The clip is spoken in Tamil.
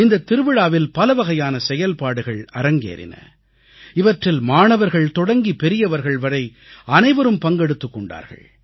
இந்தத் திருவிழாவில் பலவகையான செயல்பாடுகள் அரங்கேறின இவற்றில் மாணவர்கள் தொடங்கி பெரியவர்கள் வரை அனைவரும் பங்கெடுத்துக் கொண்டார்கள்